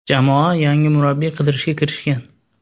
Jamoa yangi murabbiy qidirishga kirishgan.